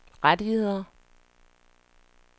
rettigheder